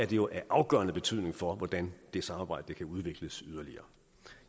jo af afgørende betydning for hvordan det samarbejde kan udvikles yderligere